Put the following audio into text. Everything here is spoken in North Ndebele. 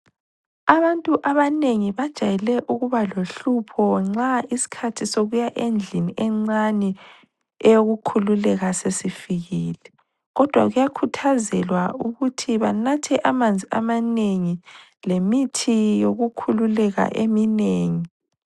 Abantu abanengi bajayele ukuba lohlupho nxa isikhathi sokuya endlini encane eyokukhululeka sesifikile. Kodwa kuyakhuthazelwa ukuthi banathe amanzi amanengi lemithi yokukhululeka eminengi.